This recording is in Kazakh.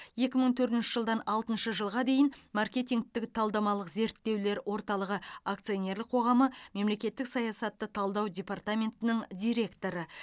екі мың төртінші жылдан алтыншы жылға дейін маркетингтік талдамалық зерттеулер орталығы акционерлік қоғамы мемлекеттік саясатты талдау департаментінің директоры